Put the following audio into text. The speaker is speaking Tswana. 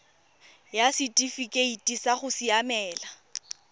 ya setifikeite sa go siamela